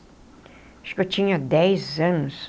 Acho que eu tinha dez anos.